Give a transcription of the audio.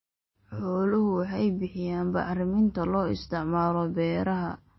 Xooluhu waxay bixiyaan bacriminta loo isticmaalo beeraha.